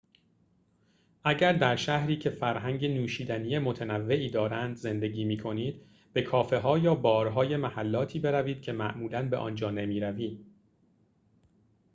اگر در شهری که فرهنگ نوشیدنی متنوعی دارند زندگی می کنید به کافه ها یا بارهای محلاتی بروید که معمولا به آنجا نمی‌روید